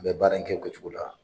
N bɛ baara in kɛ ko cogo la.